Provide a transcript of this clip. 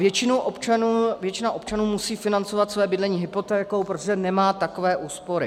Většina občanů musí financovat své bydlení hypotékou, protože nemá takové úspory.